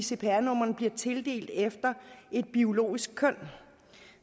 cpr numrene bliver tildelt efter et biologisk køn